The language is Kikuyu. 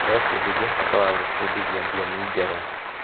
Tũrebundithia bata wa gwĩbundithia tiomi njerũ.